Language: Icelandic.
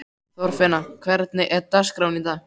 Þorfinna, hvernig er dagskráin í dag?